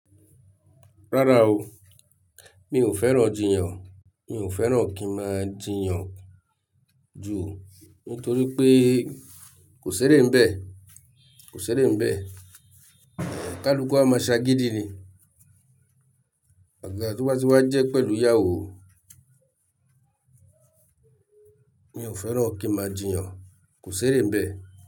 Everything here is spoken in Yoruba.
Rárá o, mi ò fẹ́ràn jiyàn. Mi ò fẹ́ràn kí máa jiyàn jù nítorí pé kò ṣeré n bẹ́ẹ̀, kò ṣeré n bẹ́ẹ̀. Ẹ̀ kaàlùkù a máa ṣagídí ni. Àgaga tó bá ti wa jẹ́ pẹ̀lú ìyàwó. Mi ò fẹ́ràn kí n máa jiyàn, kò ṣeré n bẹ́ẹ̀